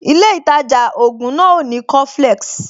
Ilé ìtajà ògùn náà ò ní coflex